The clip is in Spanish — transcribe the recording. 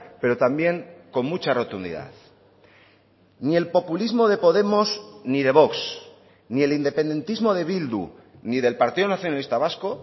pero también con mucha rotundidad ni el populismo de podemos ni de vox ni el independentismo de bildu ni del partido nacionalista vasco